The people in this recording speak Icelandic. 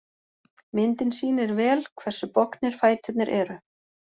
Myndin sýnir vel hversu bognir fæturnir eru.